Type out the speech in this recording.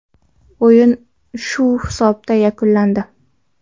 O‘yin shu hisobda yakunlandi.